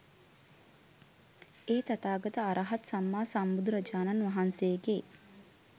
ඒ තථාගත අර්හත් සම්මා සම්බුදුරජාණන් වහන්සේගේ